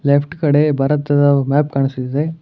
Left ಕಡೆ ಭಾರತದ map ಕಾಣಿಸುತ್ತಿದೆ.